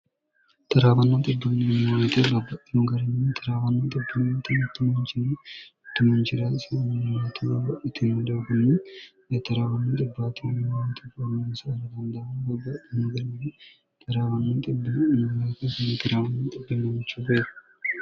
taraawannooxi dunniimonite labba lugarinn 1rawanno ximttmncinni timunciraasimimtmbb itin dokunni yetraawannoxi btemimnte formensinfandaamn bbba mugarimn 1rawannoo1mmch beeo